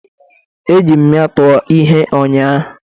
Ejiri m ya tụọ ihe ụnyaahụ.